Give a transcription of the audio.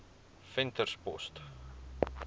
venterspost